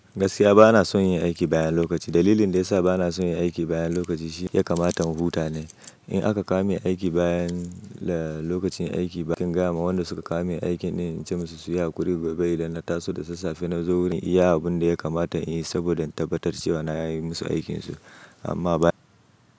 Gaskiya bana son yin aiki bayan lokaci. Dalilin da ya sa bana son yin aiki bayan lokaci shi ya kamata mu huta ne. In aka kame aiki bayan lokacin aiki, ba kin gama wanda suka kame aikin in ce musu su yi hakuri gobe inda na taso da sassafe na zo wurin iya abin da ya kamata in yi saboda in tabbatar cewa na yi musu aikinsu amma ba.